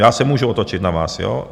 Já se můžu otočit na vás, jo.